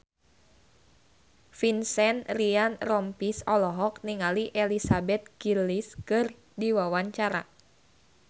Vincent Ryan Rompies olohok ningali Elizabeth Gillies keur diwawancara